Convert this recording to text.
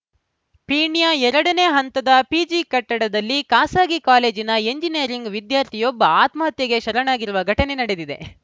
ಪೀಣ್ಯ ಎರಡನೇ ಹಂತದ ಪಿಜಿ ಕಟ್ಟಡದಲ್ಲಿ ಖಾಸಗಿ ಕಾಲೇಜಿನ ಎಂಜಿನಿಯರಿಂಗ್‌ ವಿದ್ಯಾರ್ಥಿಯೊಬ್ಬ ಆತ್ಮಹತ್ಯೆಗೆ ಶರಣಾಗಿರುವ ಘಟನೆ ನಡೆದಿದೆ